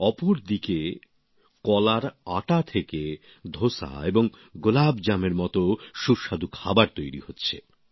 অপরদিকে কলার আটা থেকে ধোসা এবং গোলাপজাম এর মত সুস্বাদু খাবার তৈরি হচ্ছে